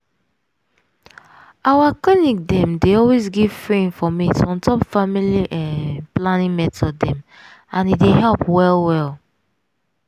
our clinic dem dey always give free informate on top family hmm planning method dem and e dey help well well.